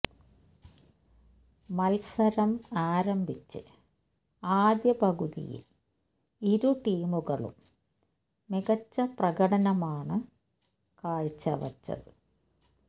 മത്സരം ആരംഭിച്ച് ആദ്യ പകുതിയിൽ ഇരു ടീമുകളും മികച്ച പ്രകടനമാണ് കാഴ്ചവച്ചത്